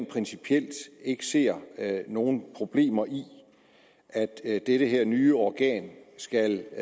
principielt ikke ser nogen problemer i at at dette nye organ skal